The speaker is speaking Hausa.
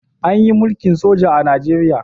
Anyi mulkin soja a nigeria